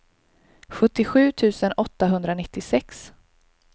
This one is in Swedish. sjuttiosju tusen åttahundranittiosex